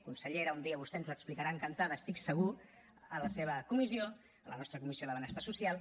consellera un dia vostè ens ho explicarà encantada estic segur a la seva comissió a la nostra comissió de benestar social